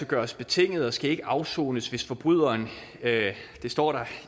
gøres betinget og skal ikke afsones hvis forbryderen det står der